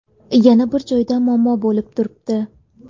Yana bir joyda muammo bo‘lib turibdi.